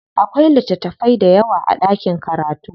Akwai littatafai dayawa a ɗakin karatu.